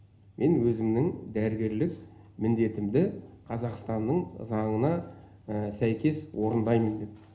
мен өзімнің дәрігерлі міндетімді қазақстанның заңына сәйкес орындаймын деп